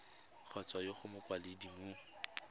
kgotsa mo go mokwaledi mo